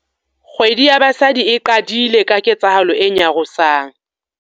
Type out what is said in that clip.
Kgwedi ya Basadi e qadile ka ketsahalo e nyarosang.